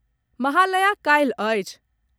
महालया काल्हि अछि।